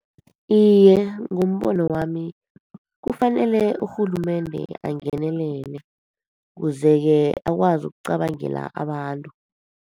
Iye, ngombono wami kufanele urhulumende angenelele, kuze-ke akwazi kucabangela abantu.